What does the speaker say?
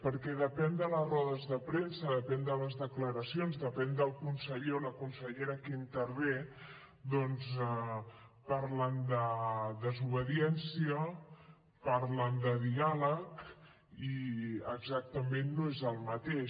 perquè depèn de les rodes de premsa depèn de les declaracions depèn del conseller o la consellera que hi intervé doncs parlen de desobediència parlen de diàleg i exactament no és el mateix